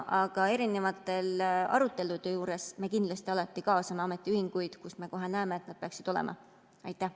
Aga erinevatel aruteludel me kindlasti alati kaasame ametiühinguid, kui me näeme, et nad peaksid seal olema.